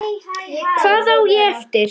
Hvað á ég eftir?